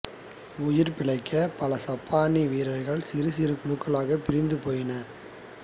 உயிர் பிழைத்த பல சப்பானிய வீரர்கள் சிறு சிறு குழுக்களாகப் பிரிந்து போயினர்